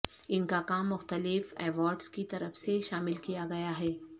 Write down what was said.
ان کا کام مختلف ایوارڈز کی طرف سے شامل کیا گیا ہے